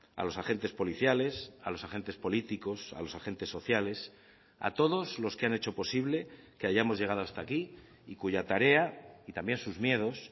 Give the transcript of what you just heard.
a los agentes policiales a los agentes políticos a los agentes sociales a todos los que han hecho posible que hayamos llegado hasta aquí y cuya tarea y también sus miedos